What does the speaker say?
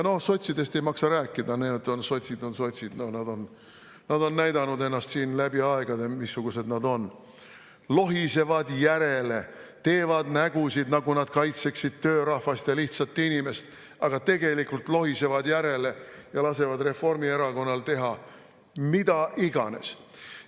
" No sotsidest ei maksa rääkida, sotsid on sotsid, nad on näidanud ennast siin läbi aegade, missugused nad on: lohisevad järele, teevad nägusid, nagu nad kaitseksid töörahvast ja lihtsat inimest, aga tegelikult lohisevad järele ja lasevad Reformierakonnal teha mida iganes.